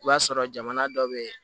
I b'a sɔrɔ jamana dɔ bɛ yen